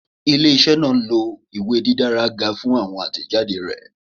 Ile-iṣẹ naa nlo iwe didara ga fun awọn atẹjade rẹ